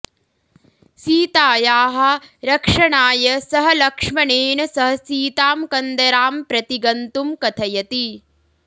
सीतायाः रक्षणाय सः लक्ष्मणेन सह सीतां कन्दरां प्रति गन्तुं कथयति